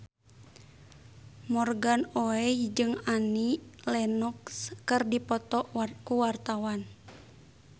Morgan Oey jeung Annie Lenox keur dipoto ku wartawan